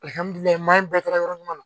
maa in bɛɛ kɛra yɔrɔ ɲuman na